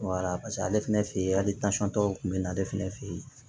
paseke ale fɛnɛ fe yen hali dɔw kun be na ale fɛnɛ fe yen